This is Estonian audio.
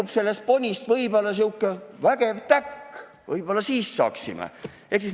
Las sellest ponist sirgub sihuke vägev täkk, võib-olla siis saaksime seda teha.